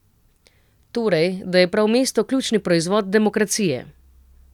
Torej, da je prav mesto ključni proizvod demokracije.